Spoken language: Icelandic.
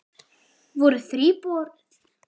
Voru þríburar en ein flutti burt